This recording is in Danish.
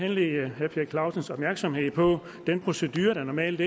henlede herre per clausens opmærksomhed på den procedure der normalt